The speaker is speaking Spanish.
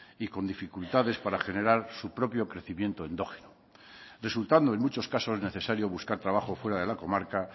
y con dificultades para generar su propio crecimiento endógeno resultando en muchos casos necesario buscar trabajo fuera de la comarca